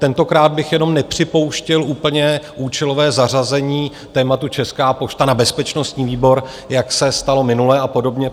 Tentokrát bych jenom nepřipouštěl úplně účelové zařazení tématu Česká pošta na bezpečnostní výbor, jak se stalo minule, a podobně.